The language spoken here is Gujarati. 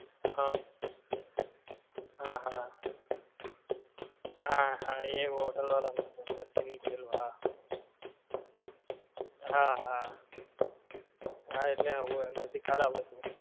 હ હા હા હા હા એ hotel વાળા નો હતું અંદર થી નીકળેલ હા હા હા હા એટલે હોએ અંદર થી ખરાબ હતું